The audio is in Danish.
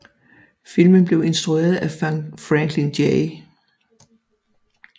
Filmen blev instrueret af Franklin J